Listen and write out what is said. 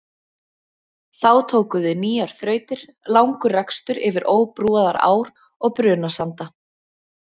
Þá tóku við nýjar þrautir, langur rekstur yfir óbrúaðar ár og brunasanda.